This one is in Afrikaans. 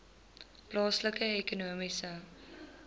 plaaslike ekonomiese